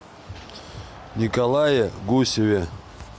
николае гусеве